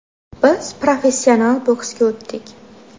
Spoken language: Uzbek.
Biz professional boksga o‘tdik.